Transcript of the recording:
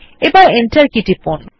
এখন enter key টিপুন